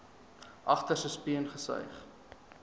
agterste speen gesuig